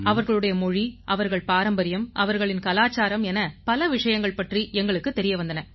அவர்களுடைய மொழி அவர்கள் பாரம்பரியம் அவர்களின் கலாச்சாரம் என பல விஷயங்கள் பற்றி எங்களுக்குத் தெரிய வந்தன